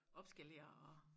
Opskalere og